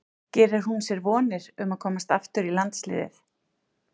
Gerir hún sér vonir um að komast aftur í landsliðið?